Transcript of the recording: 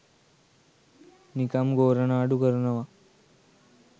නිකම් ගෝරනාඩු කරනවා